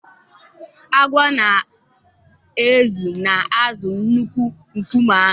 Agwọ na-ezo n'azụ nnukwu nkume ahụ.